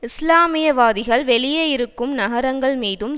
இஸ்லாமியவாதிகள் வெளியே இருக்கும் நகரங்கள்மீதும்